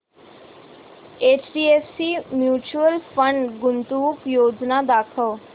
HDFC mutual fund गुंतवणूक योजना दाखव